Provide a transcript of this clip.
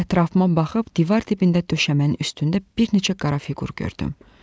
Ətrafıma baxıb divar dibində döşəmənin üstündə bir neçə qara fiqur gördüm.